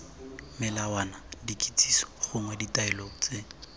melawana dikitsiso gongwe ditaelo tse